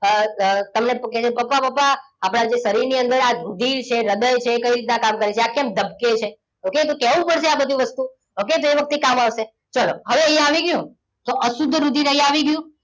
અ અ તમને કહેશે કે પપ્પા પપ્પા આપણા શરીરની અંદર આજે રુધિર છે હૃદય છે એ કઈ રીતના કામ કરે છે આ કેમ ધબકે છે okay તો કહેવું પડશે આ બધું વસ્તુ okay એ વખતે કામ આવશે ચલો હવે અહીંયા આવી ગયું તો અશુદ્ધ રુધિર અહીં આવી ગયું